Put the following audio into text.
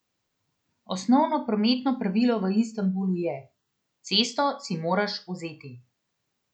Osnovno prometno pravilo v Istanbulu je: "cesto si moraš vzeti".